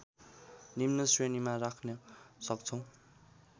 निम्न श्रेणीमा राख्न सक्छौँ